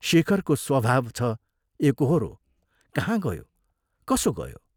शेखरको स्वभाव छ एकोहोरो कहाँ गयो, कसो गयो?